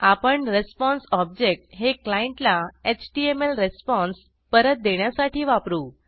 आपण response object हे क्लायंटला एचटीएमएल रिस्पॉन्स परत देण्यासाठी वापरू